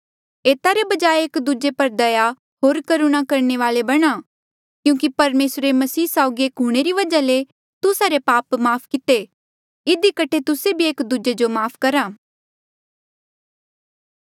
एता रे बजाय एक दूजे पर दया होर करुणा करणे वाले बणा क्यूंकि परमेसरे मसीह साउगी एक हूंणे री वजहा ले तुस्सा रे पाप माफ़ किते इधी कठे तुस्से भी एक दूजे जो माफ़ करा